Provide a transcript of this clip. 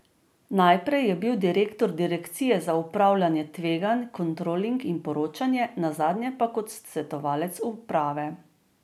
Najprej je bil direktor direkcije za upravljanje tveganj, kontroling in poročanje, nazadnje pa kot svetovalec uprave.